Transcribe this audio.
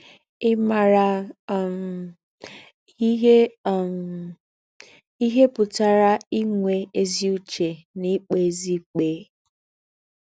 Ịmara um ihe um ihe pụtara inwe ezi uche na ikpezi ikpe.